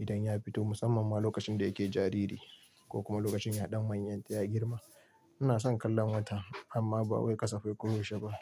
idan ya fito, musamman ma lokacin da yake jariri ko kuma lokacin ya ɗan manyan ya girma. Ina son kallon wata amma ba wai ƙasafai ko yaushe ba.